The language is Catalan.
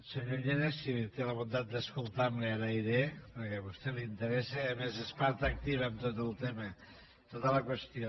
senyor llena si té la bondat d’escoltar me li ho agrairé perquè a vostè li interessa i a més és part activa en tot el tema en tota la qüestió